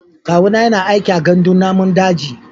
Kawuna yana aiki a gandun namun daji.